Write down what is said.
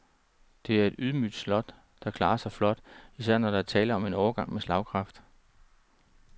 Det er et ydmygt slot, der klarer sig flot, især når der er tale om en årgang med slagkraft.